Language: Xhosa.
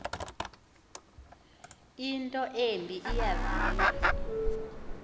into embi eyaviwa